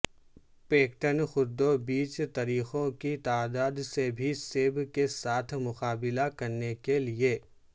pectin قددو بیج طریقوں کی تعداد سے بھی سیب کے ساتھ مقابلہ کرنے کے لئے